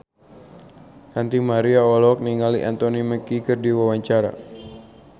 Ranty Maria olohok ningali Anthony Mackie keur diwawancara